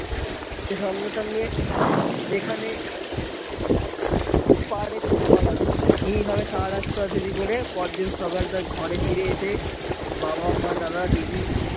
সে সঙ্গে সঙ্গে যেখানে পারে ছুটে পালালো এই ভাবে সারারাত ছুটাছুটি করে পরের দিন সকালে তার ঘরে ফিরে এসে বাবা মা দাদা দিদি